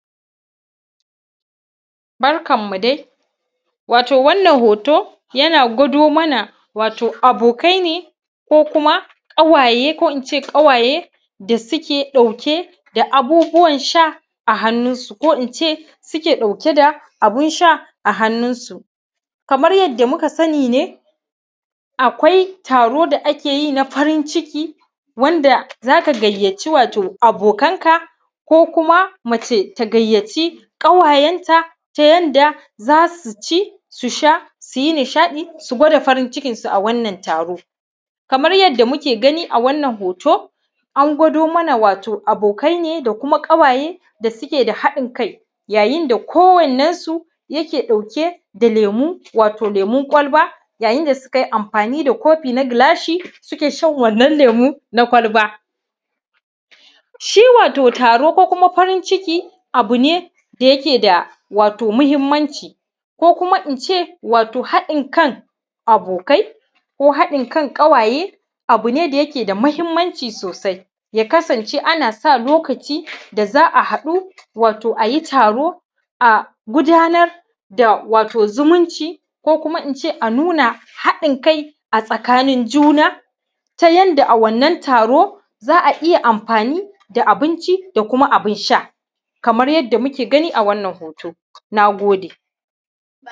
barkan mu dai wato wannan hoto yana gudo mana wato abokai ne koh kuma ƙawaye koh ince kawaye da suke dauke da abubuwan sha a hannun su koh inʧe suke ɗauke da abun sha a hannun su kamar yadda muka sani ne akwai taron da akeyi na farin ciki wanda zaka gayyaci wato abokanka koh kuma mace ta gayyaci ƙawayanta ta yanda zasu ci su sha suyi nishadi su gwada farin cikin su a wannan taro kamar yadda muke gani a wannan hoto an gwado mana wato abokai ne da kuma ƙawaye da suke da haddin kai yayin da koh wannan su yake dauke da lemu wato lemun kwalba yayin da sukai anfani da kofi na gilashi suke shan wannan lemu na kwalba shi wato taro koh kuma farin ciki abune da yake da wato mahimmanci koh kuma ince wato hadin kan abokai koh hadin kan ƙawaye abune da yake da mahimmanci sosai ya kasance ana sa lokaci da zaa hadu wato ayi taro a gudanar da wato zumunci ko kuma ince anuna hadin kai a tsakanin ǳuna ta yanda a wannan taro zaa iya anfani da abinci da kuma abin sha kamar yadda muke gani a wannan hoto na gode